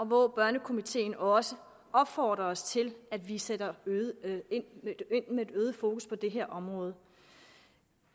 hvor børnekomiteen også opfordrer os til at vi sætter ind med et øget fokus på det her område